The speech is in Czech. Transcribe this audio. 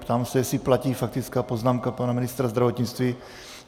Ptám se, jestli platí faktická poznámka pana ministra zdravotnictví.